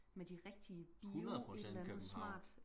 med de rigtige bio et eller andet smart